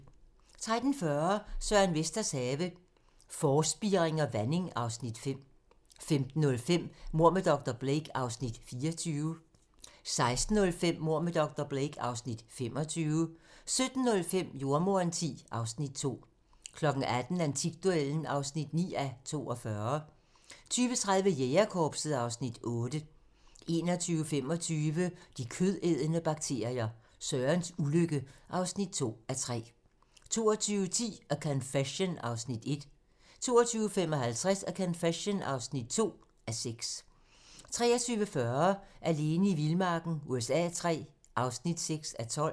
13:40: Søren Vesters have - Forspiring og vanding (Afs. 5) 15:05: Mord med dr. Blake (Afs. 24) 16:05: Mord med dr. Blake (Afs. 25) 17:05: Jordemoderen X (Afs. 2) 18:00: Antikduellen (9:42) 20:30: Jægerkorpset (Afs. 8) 21:25: De kødædende bakterier - Sørens ulykke (2:3) 22:10: A Confession (1:6) 22:55: A Confession (2:6) 23:40: Alene i vildmarken USA III (6:12)